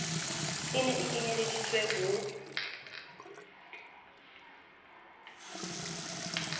e ne e kenyelleditswe ho